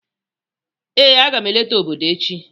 Ee, a ga m eleta obodo echi